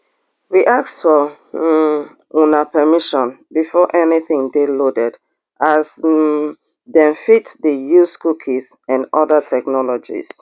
we ask for um una permission before anytin dey loaded as um dem fit dey use cookies and oda technologies